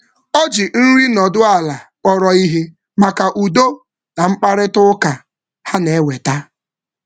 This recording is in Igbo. Ọ ji nri nọdụ ala kpọrọ ihe maka udo na mkparịta ụka ha na-eweta.